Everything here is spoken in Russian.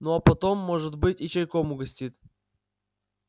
ну а потом может быть и чайком угостит